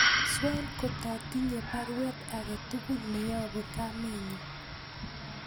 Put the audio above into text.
Swen kotatinye baruet agetugul neyobu kamenyun